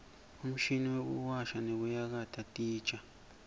umshini wekuwasha nekuyakata titja